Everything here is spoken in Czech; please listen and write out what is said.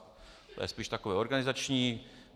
To je spíše takové organizační.